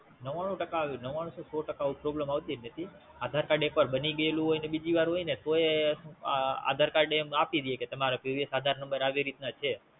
નવ્વાણું થી સો ટાકા આવી Problem કોઈદી આવતી જ નથી. આધારકાર્ડ એક વાર બની ગયું હોય ને બીજી વાર હોય ને તોયે આધારકાર્ડ એમ આપી દઈએ કે Previous આધાર નંબર આ રીતના છ